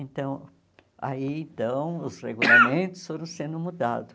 Então, aí então os regulamentos foram sendo mudados.